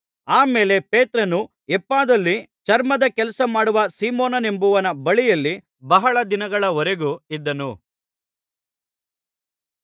ಆ ಮೇಲೆ ಪೇತ್ರನು ಯೊಪ್ಪದಲ್ಲಿ ಚರ್ಮದ ಕೆಲಸ ಮಾಡುವ ಸೀಮೋನನೆಂಬುವನ ಬಳಿಯಲ್ಲಿ ಬಹಳ ದಿನಗಳ ವರೆಗೂ ಇದ್ದನು